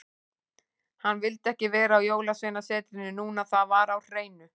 Hann vildi ekki vera á Jólasveinasetrinu núna, það var á hreinu.